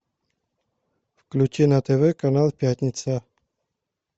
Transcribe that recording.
включи на тв канал пятница